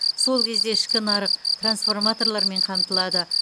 сол кезде ішкі нарық трансформаторлармен қамтылады